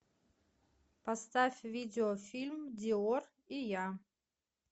поставь видеофильм диор и я